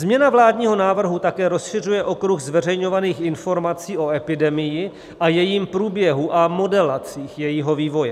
Změna vládního návrhu také rozšiřuje okruh zveřejňovaných informací o epidemii a jejím průběhu a modelaci jejího vývoje.